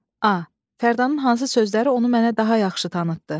A Fərdanın hansı sözləri onu mənə daha yaxşı tanıtdı?